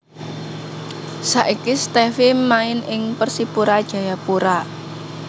Saiki Stevie main ing Persipura Jayapura